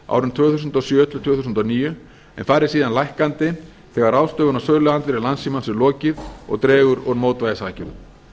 árin tvö þúsund og sjö til tvö þúsund og níu en fari síðan lækkandi þegar ráðstöfun á söluandvirði landssímans er lokið og dregur úr mótvægisaðgerðum